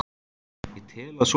Ég tel að svo sé.